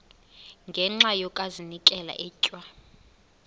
ngenxa yokazinikela etywa